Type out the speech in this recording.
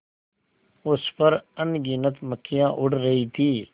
उस पर अनगिनत मक्खियाँ उड़ रही थीं